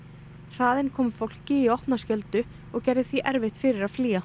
hraðinn kom fólki í opna skjöldu og gerði því erfitt fyrir að flýja